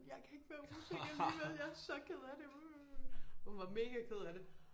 Jeg kan ikke være rus igen alligevel jeg er så ked af det og hun var mega ked af det